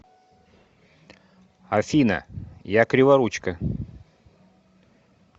афина я криворучка